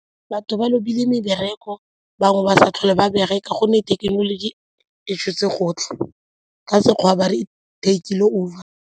Batho ba lobile mebereko, bangwe ba sa tlhole ba bereka gonne thekenoloji e tshotse gotlhe ka Sekgowa ba re take-ile over.